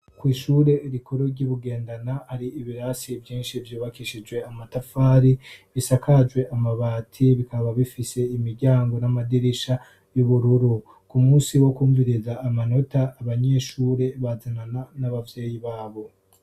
kw'ishure rikuru ry'i Bugendana hari ibirasi vyinshi vyubakishije amatafari bisakajwe amabati bikaba bifise imiryango n'amadirisha y'ubururu. Ku munsi wo kumviriza amanota, abanyeshure bazanana n'abavyeyi babo.